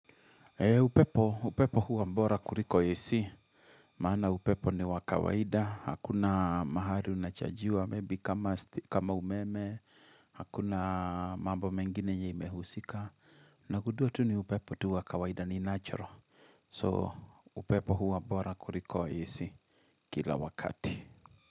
Upepo, upepo huwa bora kuliko AC. Maana upepo ni wa kawaida. Hakuna mahali unachargiwa, maybe kama umeme. Hakuna mambo mengine yenye imehusika. Nagundua tu ni upepo tu wa kawaida ni natural. So upepo huwa bora kuliko AC kila wakati.